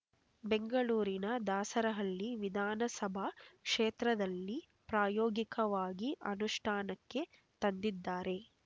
ಬೆಂಗಳೂರಿನ ದಾಸರಹಳ್ಳಿ ವಿಧಾನಸಭಾ ಕ್ಷೇತ್ರದಲ್ಲಿ ಪ್ರಾಯೋಗಿಕವಾಗಿ ಅನುಷ್ಠಾನಕ್ಕೆ ತಂದಿದ್ದಾರೆ